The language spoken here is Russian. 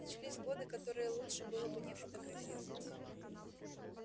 начались годы которые лучше было бы не фотографировать